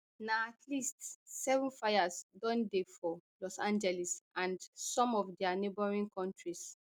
na at least seven fires don dey for los angeles and some of dia neighbouring counties